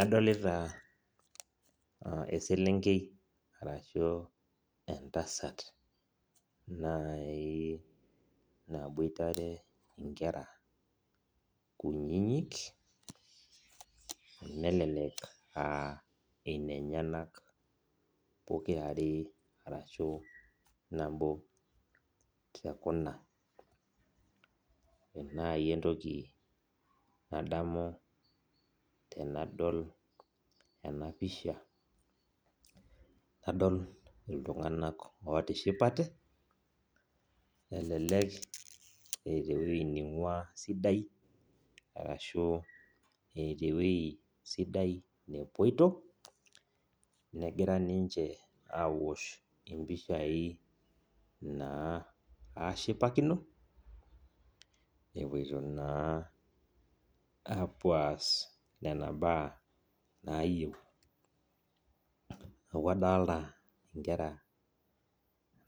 Adolita eselenkei ashu entasat nai naboitare nkera kunyinyik nelek aa nenyenak pokira aare ashu nabo tekuna ore nai entoki nadamu tanadol enapisha nadol ltunganak otishipate elelek eeta ewoi naingua ashu eeta ewue sidai nepoito negira ninche aosh mpishai na ashipakino epoito na apuo aas nona baa nayieu neaku adolta nkera